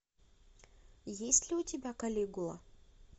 есть ли у тебя калигула